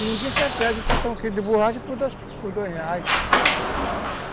E ninguém se atreve a cortar um quilo de borracha por dois reais.